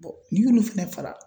n'i y'olu fara